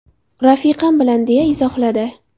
Rafiqam bilan”, deya izohladi.